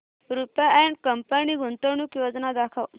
Rupa and company गुंतवणूक योजना दाखव